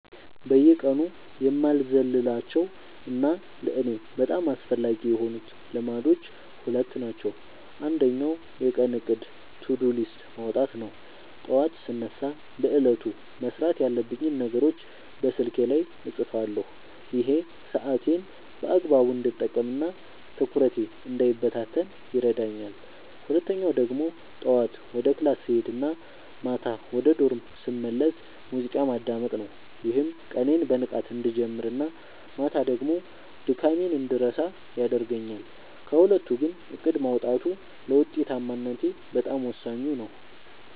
በየቀኑ የማልዘልላቸው እና ለእኔ በጣም አስፈላጊ የሆኑት ልማዶች ሁለት ናቸው። አንደኛው የቀን እቅድ (To-Do List) ማውጣት ነው፤ ጠዋት ስነሳ በዕለቱ መስራት ያለብኝን ነገሮች በስልኬ ላይ እጽፋለሁ። ይሄ ሰዓቴን በአግባቡ እንድጠቀምና ትኩረቴ እንዳይበታተን ይረዳኛል። ሁለተኛው ደግሞ ጠዋት ወደ ክላስ ስሄድ እና ማታ ወደ ዶርም ስመለስ ሙዚቃ ማዳመጥ ነው፤ ይህም ቀኔን በንቃት እንድጀምርና ማታ ደግሞ ድካሜን እንድረሳ ያደርገኛል። ከሁለቱ ግን እቅድ ማውጣቱ ለውጤታማነቴ በጣም ወሳኙ ነው።